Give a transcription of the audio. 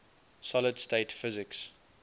solid state physics